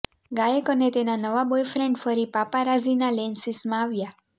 ગાયક અને તેના નવા બોયફ્રેન્ડ ફરી પાપારાઝીના લેન્સીસમાં આવ્યા